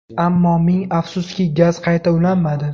Ammo ming afsuski gaz qayta ulanmadi.